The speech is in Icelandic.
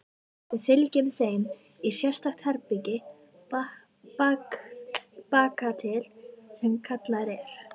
Við fylgjum þeim í sérstakt herbergi bakatil sem kallað er